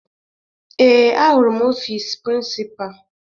Ee, ahụrụ m ọfiisi prịnsịpa